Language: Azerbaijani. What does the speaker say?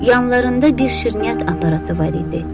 Yanlarında bir şirniyyat aparatı var idi.